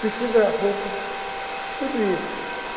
precisa roupa, tudo isso.